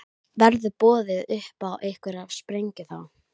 Verður boðið upp á einhverja sprengju þá?